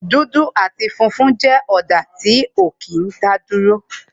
dudu ati funfun jẹ́ ọ̀dà tí ó kí n daduro